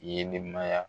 Ye ne ma ya